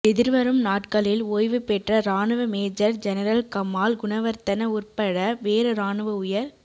எதிர்வரும் நாட்களில் ஒய்வு பெற்ற இராணுவ மேஜர் ஜெனரல் கமால் குணவர்த்தன உற்பட வேறு இராணுவ உயர்